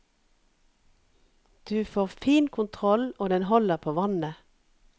Du får fin kontroll og den holder på vannet.